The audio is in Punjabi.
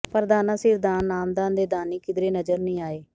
ਪਰ ਦਾਨਾਂ ਸਿਰ ਦਾਨ ਨਾਮਦਾਨ ਦੇ ਦਾਨੀ ਕਿਧਰੇ ਨਜਰ ਨਹੀਂ ਆਏ